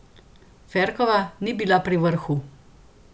Ferkova ni bila pri vrhu.